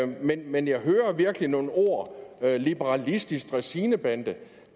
men men jeg hører virkelig nogle ord liberalistisk dræsinebande